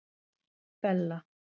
Bella